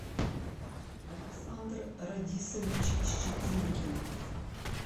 александр радисович щетинкин